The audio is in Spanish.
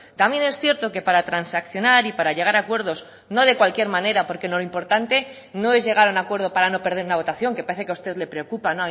también es cierto que para transaccionar y para llegar a acuerdos no de cualquier manera porque lo importante no es llegar a un acuerdo para no perder una votación que parece que a usted le preocupa